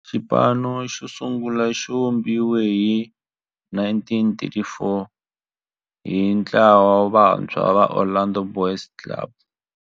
Xipano xosungula xivumbiwile hi 1934 hi ntlawa wa vantshwa va Orlando Boys Club.